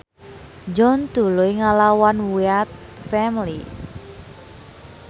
John tuluy ngalawan Wyatt Family